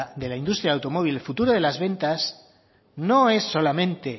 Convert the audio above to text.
de la industria del automóvil el futuro de las ventas no es solamente